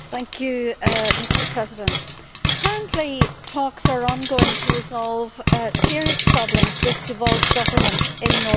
Mr President, currently talks are ongoing to resolve serious problems with devolved government in Northern Ireland.